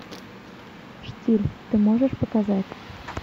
штиль ты можешь показать